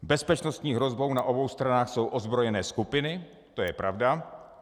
Bezpečnostní hrozbou na obou stranách jsou ozbrojené skupiny, to je pravda.